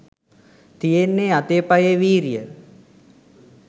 තියෙන්නෙ අතේ පයේ වීරිය